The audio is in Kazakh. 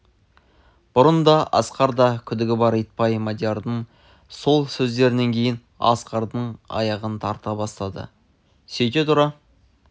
бұрын да асқарда күдігі бар итбай мадиярдың сол сөздерінен кейін асқардан аяғын тарта бастады сөйте тұра